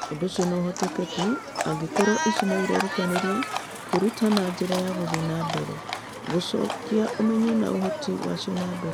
Ũndũ ũcio no ũhoteke tu angĩkorũo icio nĩ irerutanĩria kwĩruta na njĩra ya gũthiĩ na mbere gũcokia ũmenyo na ũhoti wacio na mbere.